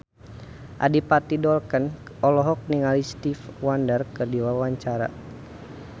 Adipati Dolken olohok ningali Stevie Wonder keur diwawancara